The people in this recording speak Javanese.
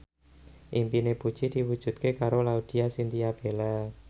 impine Puji diwujudke karo Laudya Chintya Bella